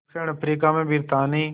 दक्षिण अफ्रीका में ब्रितानी